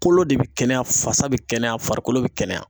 Kolo de bi kɛnɛya, fasa bi kɛnɛya ,farikolo bi kɛnɛya.